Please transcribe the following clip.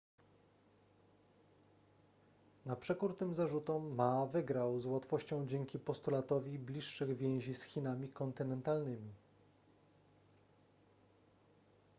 na przekór tym zarzutom ma wygrał z łatwością dzięki postulatowi bliższych więzi z chinami kontynentalnymi